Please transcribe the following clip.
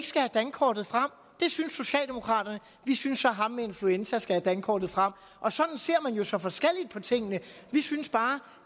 skal have dankortet frem det synes socialdemokraterne vi synes så at ham med influenza skal have dankortet frem og sådan ser man jo så forskelligt på tingene vi synes bare